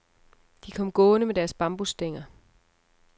De kom gående med deres bambusstænger.